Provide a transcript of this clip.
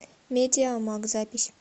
медиамаг запись